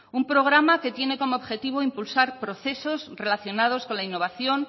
un programa que tiene como objetivo impulsar procesos relacionados con la innovación